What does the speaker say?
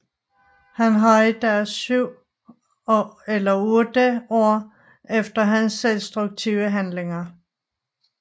Han har i dag syv eller otte ar efter hans selvdestruktive handlinger